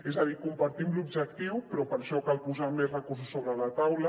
és a dir en compartim l’objectiu però per això cal posar més recursos sobre la taula